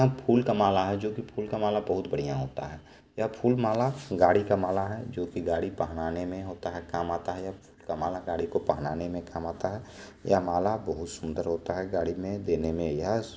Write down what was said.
यह फुल का माला है जोकि फुल का माला बहुत बढ़िया होता है। यह फुल माला गाड़ी का माला है जोकि गाड़ी पहनाने में होता है काम आता है। फूल का माला गाड़ी को पहनाने में काम आता है। यह माला बहुत सुंदर होता है गाड़ी में देने में यह --